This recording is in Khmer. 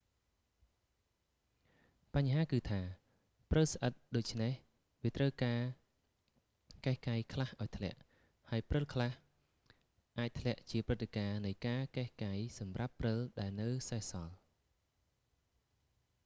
បញ្ហាគឺថាព្រឹលស្អិតដូច្នេះវាត្រូវការកេះកៃខ្លះឱ្យធ្លាក់ ហើយព្រឹលខ្លះអាចធ្លាក់ជាព្រឹត្តិការណ៍នៃការកេះកៃសម្រាប់ព្រឹលដែលនៅសេសសល់